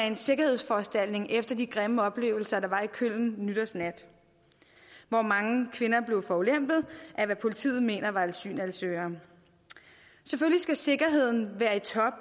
en sikkerhedsforanstaltning efter de grimme oplevelser der var i køln nytårsnat hvor mange kvinder blev forulempet af hvad politiet mener var asylansøgere selvfølgelig skal sikkerheden være i top